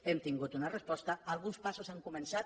hem tingut una resposta alguns passos han començat